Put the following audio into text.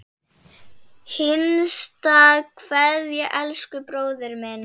HINSTA KVEÐJA Elsku bróðir minn.